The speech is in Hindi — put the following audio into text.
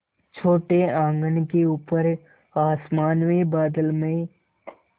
छोटे आँगन के ऊपर आसमान में बादल में